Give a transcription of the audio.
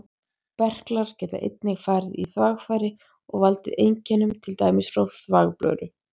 Berklar geta einnig farið í þvagfæri og valdið einkennum, til dæmis frá þvagblöðru.